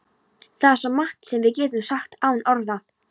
Það er svo margt sem við getum sagt án orða.